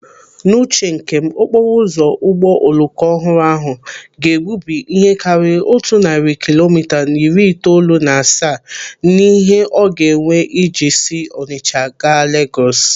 N'uche nke m, okporo ụzọ ụgbọ oloko ọhụrụ ahụ ga-egbubi ihe karịrị otu narị kilomita na iri itoolu na asaa n'ihe ọ ga-ewe iji si Ọnicha gaa Legọs